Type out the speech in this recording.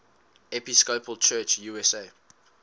episcopal church usa